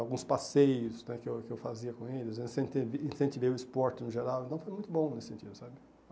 Alguns passeios né que eu que eu fazia com eles né, incentivei o esporte no geral, então foi muito bom nesse sentido, sabe?